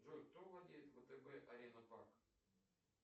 джой кто владеет втб арена банк